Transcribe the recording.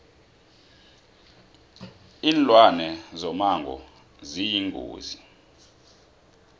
linlwane zomango ziyingozi